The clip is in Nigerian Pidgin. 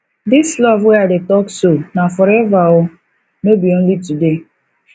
dis love wey i dey talk so na forever o no be only today